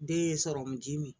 Den ye sɔrɔmuji min